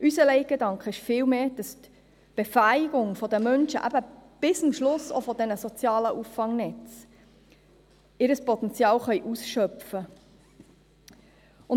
Unser Leitgedanke ist vielmehr die Befähigung der Menschen, dass sie eben bis am Schluss auch mit diesen sozialen Auffangnetzen ihr Potenzial ausschöpfen können.